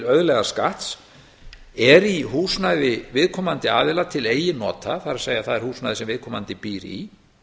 auðlegðarskatts er í húsnæði viðkomandi aðila til eigin nota það er húsnæði sem viðkomandi býr í